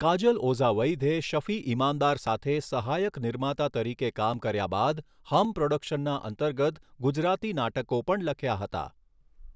કાજલ ઓઝા વૈધે શફી ઇમાનદાર સાથે સહાયક નિર્માતા તરીકે કામ કર્યા બાદ હમ પ્રોડકશનના અંતર્ગત ગુજરાતી નાટકો પણ લખ્યા હતા.